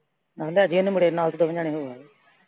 ਆਹੋ ਲੈ ਜਾਈਂ ਇਹਨੂੰ ਮੁੰਡੇ ਨੂੰ ਨਾਲ ਤੇ ਦੋਵੇਂ ਜਾਣੇ ਹੋ ਆਇਓ।